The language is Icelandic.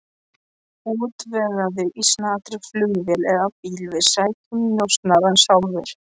Útvegaðu í snatri flugvél eða bíl, við sækjum njósnarann sjálfir.